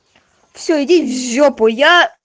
все иди в жопу я